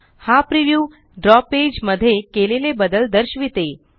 हा प्रिव्ह्यू द्रव पेज मध्ये केलेले बदल दर्शविते